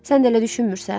Sən də elə düşünmürsən?